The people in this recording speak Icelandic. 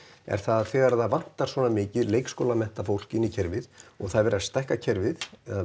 er að þegar það vantar svona mikið fólk inn í kerfið og það er verið að stækka kerfið